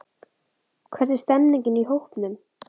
Hvernig er stemmingin í hópnum?